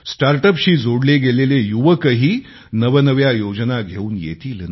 start up शी जोडले गेलेले युवकही नवनव्या योजना घेऊन येतील